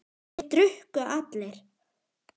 Þeir drukku allir.